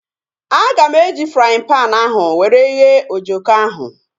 Aga m eji fraaịn panu ahu were ghee ojoko ahu